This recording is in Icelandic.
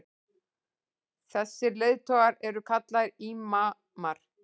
þessir leiðtogar eru kallaðir ímamar